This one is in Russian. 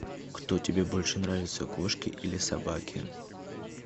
кто тебе больше нравится кошки или собаки